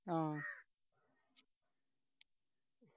ആ